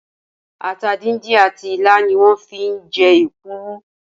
Ata díndín àti ilá ni wón fi ń je Èkuru